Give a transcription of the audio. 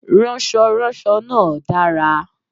Ránsoránso náà dára